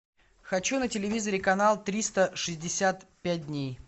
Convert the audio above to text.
хочу на телевизоре канал триста шестьдесят пять дней